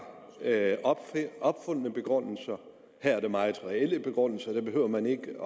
opfundne begrundelser her er der meget reelle begrundelser her behøver man ikke at